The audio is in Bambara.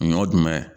Ɲɔ dumɛn